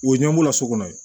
O ye ɲɛmɔgɔ la so kɔnɔ ye